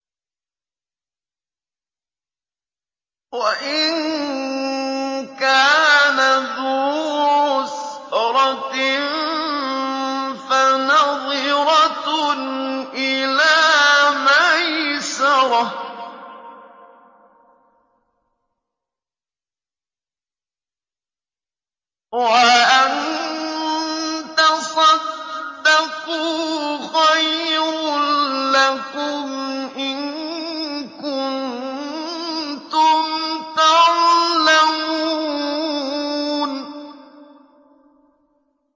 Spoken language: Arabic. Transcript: وَإِن كَانَ ذُو عُسْرَةٍ فَنَظِرَةٌ إِلَىٰ مَيْسَرَةٍ ۚ وَأَن تَصَدَّقُوا خَيْرٌ لَّكُمْ ۖ إِن كُنتُمْ تَعْلَمُونَ